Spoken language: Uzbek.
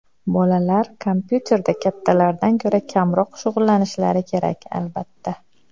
Bolalar kompyuterda kattalardan ko‘ra kamroq shug‘ullanishlari kerak, albatta.